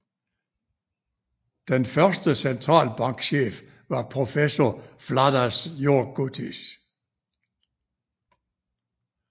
Den første centralbankchef var professor Vladas Jurgutis